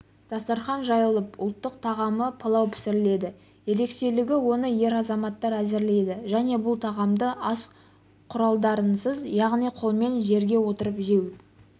дастархан жайылып ұлттық тағамы палау пісіріледі ерекшелігі оны ер азаматтар әзірлейді және бұл тағамды ас құралдарынсыз яғни қолмен жерге отырып жеу